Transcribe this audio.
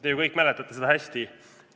Te ju kõik mäletate seda hästi.